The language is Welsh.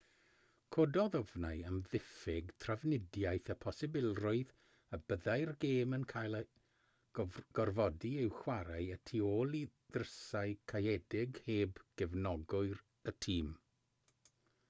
cododd ofnau am ddiffyg trafnidiaeth y posibilrwydd y byddai'r gêm yn cael ei gorfodi i'w chwarae y tu ôl i ddrysau caeëdig heb gefnogwyr y tîm